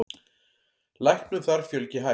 Læknum þar fjölgi hægt.